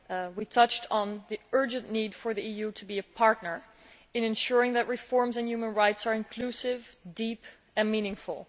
We touched on the urgent need for the EU to be a partner in ensuring that reforms on human rights are inclusive, deep and meaningful.